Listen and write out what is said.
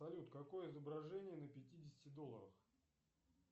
салют какое изображение на пятидесяти долларах